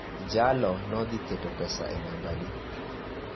jalo no dhiketo pesa go e nambi